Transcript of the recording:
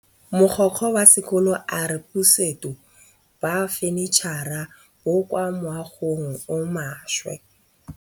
Mogokgo wa sekolo a re bosutô ba fanitšhara bo kwa moagong o mošwa.